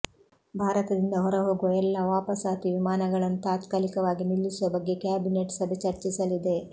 ಭಾರತದಿಂದ ಹೊರಹೋಗುವ ಎಲ್ಲಾ ವಾಪಸಾತಿ ವಿಮಾನಗಳನ್ನು ತಾತ್ಕಾಲಿಕವಾಗಿ ನಿಲ್ಲಿಸುವ ಬಗ್ಗೆ ಕ್ಯಾಬಿನೆಟ್ ಸಭೆ ಚರ್ಚಿಸಲಿದೆ